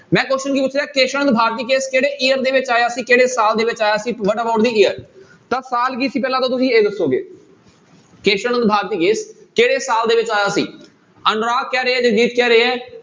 ਮੈਂ question ਕੀ ਪੁੱਛਿਆ ਕੇਸਵ ਨੰਦ ਭਾਰਤੀ case ਕਿਹੜੇ year ਦੇ ਵਿੱਚ ਆਇਆ ਸੀ ਕਿਹੜੇ ਸਾਲ ਦੇ ਵਿੱਚ ਆਇਆ ਸੀ what about the year ਤਾਂ ਸਾਲ ਕੀ ਸੀ ਪਹਿਲਾਂ ਤਾਂ ਤੁਸੀਂ ਇਹ ਦੱਸੋਗੇ, ਕੇਸਵ ਨੰਦ ਭਾਰਤੀ case ਕਿਹੜੇ ਸਾਲ ਦੇ ਵਿੱਚ ਆਇਆ ਸੀ ਅਨੁਰਾਗ ਕਹਿ ਰਹੇ ਆ, ਰਜੀਸ ਕਹਿ ਰਹੇ ਆ